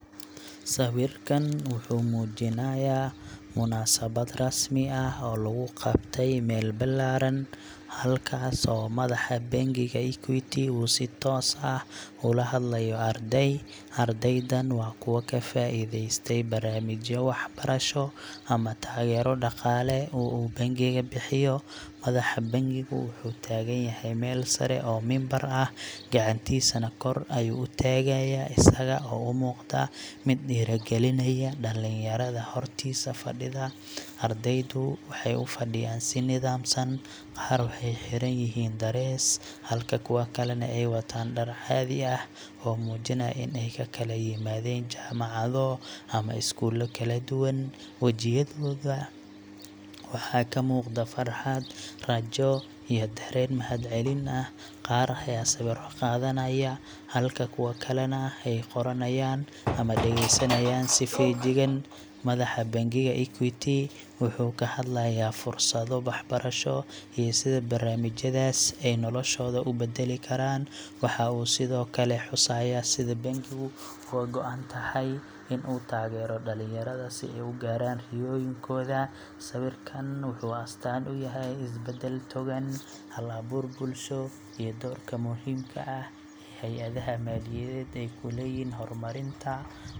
Sawirkan wuxuu muujinayaa munaasabad rasmi ah oo lagu qabtay meel ballaaran, halkaas oo madaxa bangiga Equity uu si toos ah ula hadlayo arday. Ardaydan waa kuwo ka faa’iideystay barnaamijyo waxbarasho ama taageero dhaqaale oo uu bangigu bixiyo. Madaxa bangigu wuxuu taagan yahay meel sare oo mimbar ah, gacantiisana kor ayuu u taagayaa, isaga oo u muuqda mid dhiirrigelinaya dhallinyarada hortiisa fadhida. Ardaydu waxay u fadhiyaan si nidaamsan, qaarna waxay xiran yihiin darees, halka kuwo kalena ay watahay dhar caadi ah oo muujinaya in ay ka kala yimaadeen jaamacado ama iskuullo kala duwan. Wajiyadooda waxaa ka muuqda farxad, rajo iyo dareen mahadcelin ah. Qaar ayaa sawirro qaadanaya, halka kuwo kalena ay qoranayaan ama dhageysanayaan si feejigan. Madaxa bangiga Equity wuxuu ka hadlayaa fursadda waxbarasho iyo sida barnaamijyadaasi ay noloshooda u beddeli karaan. Waxa uu sidoo kale xusayaa sida bangigu uga go’an tahay in uu taageero dhallinyarada si ay u gaaraan riyooyinkooda. Sawirkan wuxuu astaan u yahay isbeddel togan, hal-abuur bulsho iyo doorka muhiimka ah ee hey’adaha maaliyadeed ay ku leeyihiin horumarinta waxbarashada iyo dhallinyarada. Ugu dambeyn, waxaa muuqata isfaham iyo niyad-wanaag ka dhexeeya maamulka bangiga iyo ardayda, taas oo muujinaysa in la dhisayo bulsho aqoon iyo fursad leh.